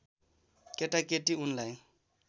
केटाकेटी उनलाई